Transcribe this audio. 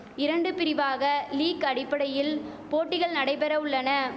இரண்டு பிரிவாக லீக் அடிப்படையில் போட்டிகள் நடைபெற உள்ளன